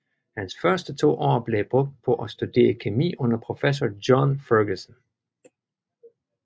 Hans første to år blev brugt på at studere kemi under professor John Ferguson